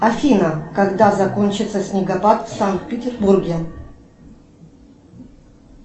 афина когда закончится снегопад в санкт петербурге